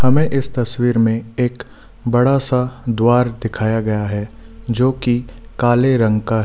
हमें इस तस्वीर में एक बड़ा सा द्वार दिखाया गया है जो कि काले रंग का है।